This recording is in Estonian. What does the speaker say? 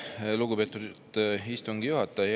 Aitäh, lugupeetud istungi juhataja!